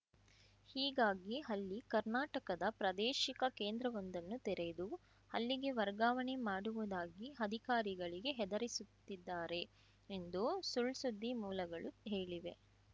ಹೀಗಾಗಿ ಅಲ್ಲಿ ಕರ್ನಾಟಕದ ಪ್ರಾದೇಶಿಕ ಕೇಂದ್ರವೊಂದನ್ನು ತೆರೆದು ಅಲ್ಲಿಗೆ ವರ್ಗಾವಣೆ ಮಾಡುವುದಾಗಿ ಅಧಿಕಾರಿಗಳಿಗೆ ಹೆದರಿಸುತ್ತಿದ್ದಾರೆ ಎಂದು ಸುಳ್‌ಸುದ್ದಿ ಮೂಲಗಳು ಹೇಳಿವೆ